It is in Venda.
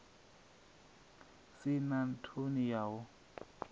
si na ṱhoni ya u